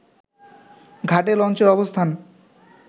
ঘাটে লঞ্চের অবস্থান